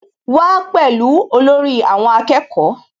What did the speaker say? Wá pẹ̀lú olórí àwọn akẹ́kọ̀ọ́